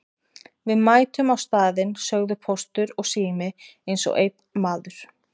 Við mætum á staðinn sögðu Póstur og Sími eins og einn maður.